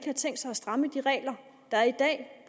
har tænkt sig at stramme de regler der er i dag